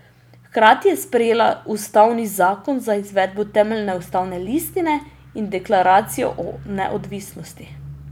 Hkrati je sprejela ustavni zakon za izvedbo temeljne ustavne listine in Deklaracijo o neodvisnosti.